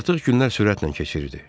Artıq günlər sürətlə keçirirdi.